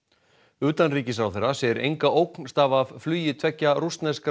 utanríkisráðherra segir enga ógn stafa af flugi tveggja rússneskra